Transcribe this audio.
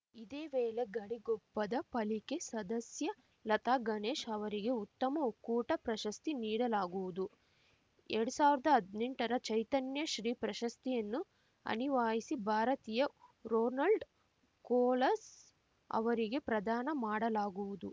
ಇದೇ ವೇಳೆ ಗಡಿಗೊಪ್ಪದ ಪಾಲಿಕೆ ಸದಸ್ಯ ಲತಾ ಗಣೇಶ್‌ ಅವರಿಗೆ ಉತ್ತಮ ಒಕ್ಕೂಟ ಪ್ರಶಸ್ತಿ ನೀಡಲಾಗುವುದು ಎರ್ಡ್ ಸಾವಿರ್ದಾ ಹದ್ನೆಂಟರ ಚೈತನ್ಯ ಶ್ರೀ ಪ್ರಶಸ್ತಿಯನ್ನು ಅನಿವಾಸಿ ಭಾರತೀಯ ರೊನಾಲ್ಡ್‌ ಕೊಲಸ್ ಅವರಿಗೆ ಪ್ರದಾನ ಮಾಡಲಾಗುವುದು